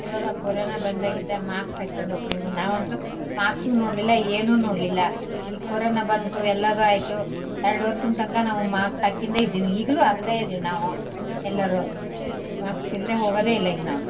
ಇವಾಗ ಕರೋನಾ ಬಂದಾಗಿಂದ ಮಾಸ್ಕ್ ಆಕ್ಯಂಡು ಹೊಕ್ತಿವಿ ನಾವಂತೂ ಮಾಸ್ಕು ನೋಡ್ಲಿಲ್ಲ ಏನು ನೋಡ್ಲಿಲ್ಲ. ಈ ಕರೋನಾ ಬಂತು ಎಲ್ಲದು ಹೈತು ಎಲ್ದು ವರ್ಷಂದ್ತಂಕ ಮಾಸ್ಕ್ ಹಕ್ಕಿಂದೆ ಇದೀನಿ ಈಗ್ಲೂ ಅಕ್ತ ಇದೀವಿ ನಾವು ಎಲ್ಲರು ಮಾಸ್ಕ್ ಇಲ್ದೆ ಹೋಗದೆ ಇಲ್ಲ ಈಗ ನಾವು.